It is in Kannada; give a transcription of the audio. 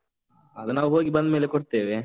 ಅದು ನಾವು ಹೋಗಿ ಬಂದ್ಮೇಲೆ ಕೊಡ್ತೇವೆ.